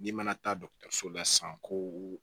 N'i mana taa la san ko